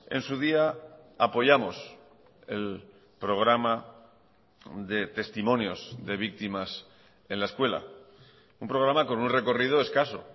en su día apoyamos el programa de testimonios de víctimas en la escuela un programa con un recorrido escaso